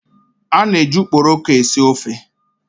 A na-eji ukporoko esi ofe.